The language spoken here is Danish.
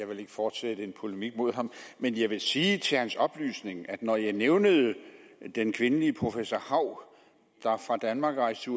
vil fortsætte en polemik mod ham men jeg vil sige til hans oplysning at når jeg nævnede den kvindelige professor hau der fra danmark rejste